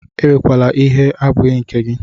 Ewekwala ihe abụghị nke gị!